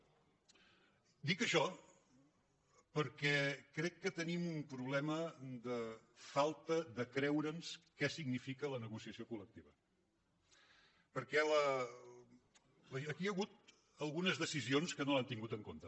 dic això perquè crec que tenim un problema de falta de creure’ns què significa la negociació colperquè aquí hi ha hagut algunes decisions que no l’han tingut en compte